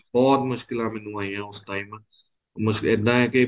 ਬਹੁਤ ਮੁਸ਼ਕਿਲਾ ਮੈਨੂੰ ਆਈਆ ਉਸ time ਬੱਸ ਇੱਦਾਂ ਹੈ ਕੀ